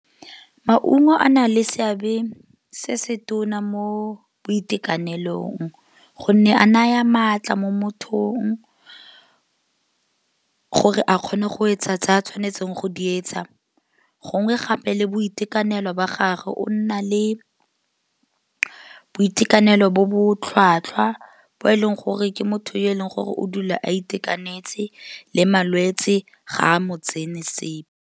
Maungo a na le seabe se se tona mo boitekanelong gonne a naya maatla mo mothong gore a kgone go etsa tsa a tshwanetseng go di etsa. Gongwe gape le boitekanelo ba gage o nna le boitekanelo bo bo tlhwatlhwa, bo e leng gore ke motho yo e leng gore o dula a itekanetse le malwetsi ga a mo tsene sepe.